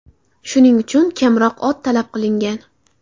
Shuning uchun kamroq ot talab qilingan.